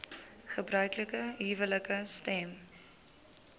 gebruiklike huwelike stem